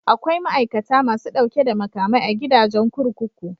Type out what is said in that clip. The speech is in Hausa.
Akwai ma'aikata masu ɗauke da makamai a gidajen kurkuku.